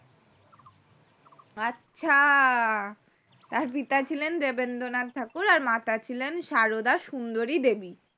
আচ্ছা তার পিতা ছিলেন দেবেন্দ্রনাথ ঠাকুর আর মাতা ছিলেন আর মাতা ছিলেনা সারদা সুন্দরী দেবী